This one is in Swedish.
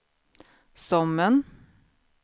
Sommen